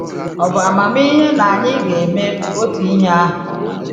Ọ̀ bụ amamihe na anyị ga-eme otu ihe ahụ?